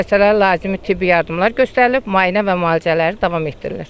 Xəstələrə lazımi tibbi yardımlar göstərilib, müayinə və müalicələr davam etdirilir.